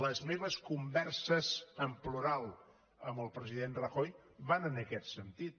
les meves converses en plural amb el president rajoy van en aquest sentit